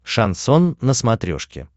шансон на смотрешке